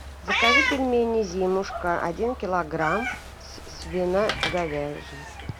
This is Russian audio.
закажи пельмени зимушка один килограмм свино говяжьи